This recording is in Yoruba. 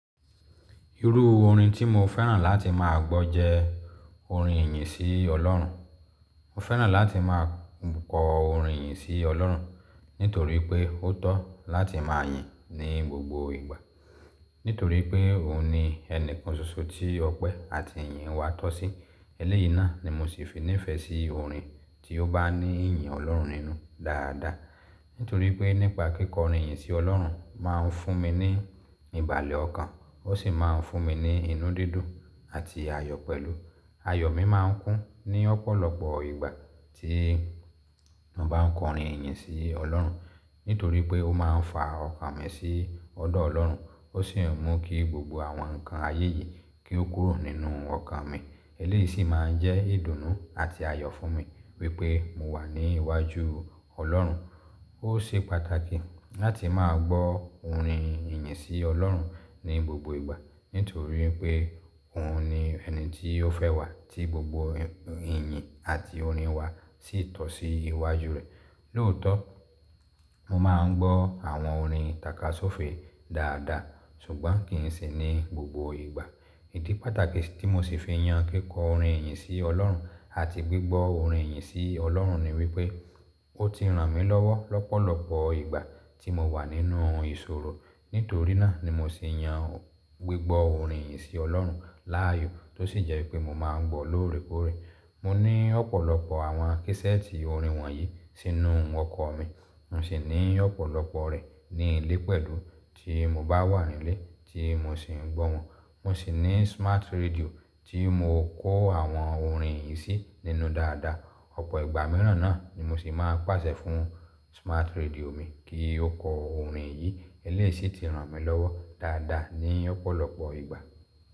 Irú orin tí mo fẹ́ràn láti má a gbọ́ jẹ́ orin ìyìn sí Ọlọ́run. Mo fẹ́ràn láti má a kọ orin ìyìn sí Ọlọ́run nítorí pé ó tọ́ láti máa yìn ní gbogbo ìgbà. Nítorí pé òun ni ẹnìkan ṣoṣo tí ọpẹ́ àti ìyìn wa tọ́ sí. Eléyìí náà ni mo sì fi nífẹ̀ẹ́ sí orin tí ó bá ní ìyìn Ọlọ́run nínú dáadáa. Nítorí pé nípa kíkọ orin ìyìn sí Ọlọ́run má a ń fún mi ní ìbàlẹ̀ ọkàn, ó sì má a ń fún mi ní inú dídùn àti ayọ̀ pẹ̀lú. Ayọ̀ mi máa ń kún ní ọ̀pọ̀lọpọ̀ ìgbà tí mo bá n kọ orin ìyìn sí Ọlọ́run. Nítorí pé ó má a ń fa ọkàn mi sí ọ̀dọ̀ Ọlọ́run, ó sì ń mú kí gbogbo àwọn nǹkan ayé yìí kí ó kúrò nínú ọkàn mi. Eléyìí sì má a ń jẹ́ ìdùnnú àti ayọ̀ fún mi wípé mo wà ní iwájú Ọlọ́run. Ó ṣe pàtàkì láti má a gbọ́ orin ìyìn sí Ọlọ́run ní gbogbo ìgbà, nítorí pé òun ni ẹni tí ó fẹ́ wà tí gbogbo ìyìn àti orin wa sì tọ́ sí iwájú rẹ̀. Lóòótọ́, mo má a ń gbọ́ àwọn orin takasufe dáadáa ṣùgbọ́n kì í sì ní gbogbo ìgbà. Ìdí pàtàkì tí mo sì fi yan kíkọ orin ìyìn sí Ọlọ́run àti gbígbọ́ orin ìyìn sí Ọlọ́run ni wípé ó ti ràn mí lọ́wọ́ lọ́pọ̀lọpọ̀ ìgbà tí mo wà nínú ìṣòro. Nítorí náà ni mo sì yan gbígbọ́ orin ìyìn sí Ọlọ́run láàyò tó sì jẹ́ pé mo má a ń gbọ́ lóòrèkóòrè. Mo ní ọ̀pọ̀lọpọ̀ àwọn késẹ́ẹ̀tì orin wọ̀nyí sínú ọkọ̀ mi. Mo sì ní ọ̀pọ̀lọpọ̀ rẹ̀ ní ilé pẹ̀lú tí mo bá wà nílé tí mo sì ń gbọ̀ wọn. Mo sì ní smart radio tí mo kó àwọn orin yìí sínú dáadáa. Ọ̀pọ̀ ìgbà mìíràn náà ni mo sì máa ń pàṣẹ fún smart radio mi kí ó kọ orin yìí. Eléyìí sì ti ràn mí lọ́wọ́ dáadáa ní ọ̀pọ̀lọpọ̀ ìgbà.